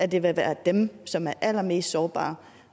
det vil være dem som er allermest sårbare